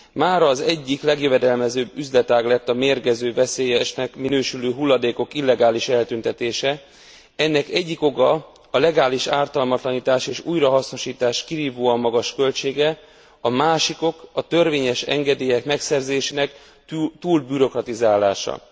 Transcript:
Mára az egyik legjövedelmezőbb üzletág lett a mérgező, veszélyesnek minősülő hulladékok illegális eltüntetése. Ennek egyik oka a legális ártalmatlanítás és újrahasznosítás kirívóan magas költsége, a másik ok a törvényes engedélyek megszerzésének túlbürokratizálása.